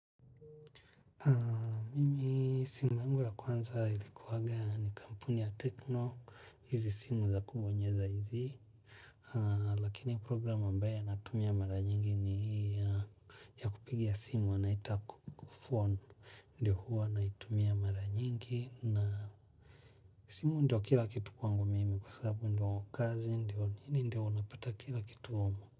Mimi simu yangu ya kwanza ilikuwanga ni kampuni ya tekno hizi simu za kubonyeza hizi lakini program ambayo natumia mara nyingi ni hii ya ya kupiga simu wanaita phone ndio huwa naitumia mara nyingi na simu ndio kila kitu kwangu mimi kwa sababu ndio kazi ndio nini ndio unapata kila kitu humu.